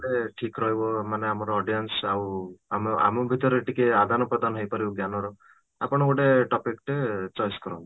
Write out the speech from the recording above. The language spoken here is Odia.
ମାନେ ଠିକ ରହିବ ମାନେ ଆମର audience ଆଉ ଆମ ଆମ ଭିତରେ ଟିକେ ଆଦାନ ପ୍ରଦାନ ହେଇପାରିବ ଜ୍ଞାନ ର ଆପଣ ଗୋଟେ topic ଟେ choice କରନ୍ତୁ